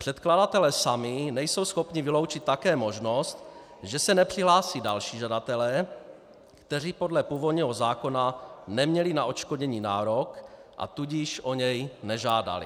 Předkladatelé sami nejsou schopni vyloučit také možnost, že se nepřihlásí další žadatelé, kteří podle původního zákona neměli na odškodnění nárok, a tudíž o něj nežádali.